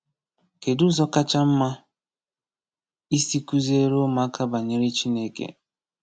Kedụ ụzọ kacha mma isi kụziere ụmụaka banyere Chineke?